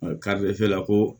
la ko